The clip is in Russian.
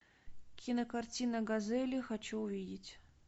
кинокартина газели хочу увидеть